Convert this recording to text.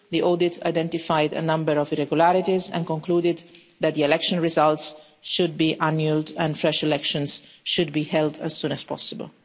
The audit identified a number of irregularities and concluded that the election results should be annulled and fresh elections should be held as soon as possible.